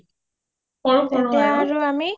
সৰু সৰু আৰু